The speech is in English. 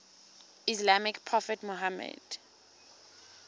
islamic prophet muhammad